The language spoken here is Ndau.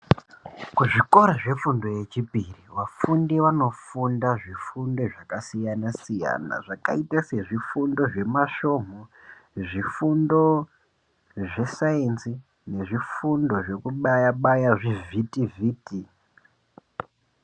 Kuzvikora zvefundo yechipiri vafundi vanofunda zvifundo zvakasiyana-siyana zvakaite sezvifundo zvemasvomhu, zvifundo zvesainzi nezvifundo zvekubaya-baya zvivhitivhiti.